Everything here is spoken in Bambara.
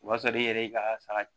O b'a sɔrɔ e yɛrɛ y'i ka saga